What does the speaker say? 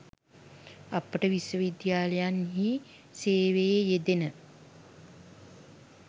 අපට විශ්වවිද්‍යාලයන්හි සේවයේ යෙදෙන